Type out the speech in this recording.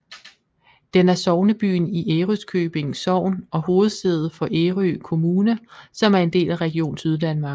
Den er sognebyen i Ærøskøbing Sogn og hovedsæde for Ærø Kommune som er en del af Region Syddanmark